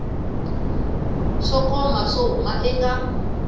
swo koma swo huma eka